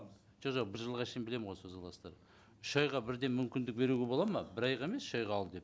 жо жоқ бір жылға дейін білемін ғой соза аласыздар үш айға бірден мүмкіндік беруге болады ма бір айға емес үш айға ал деп